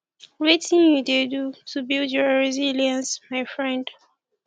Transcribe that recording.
wetin you dey do to build your resilience my friend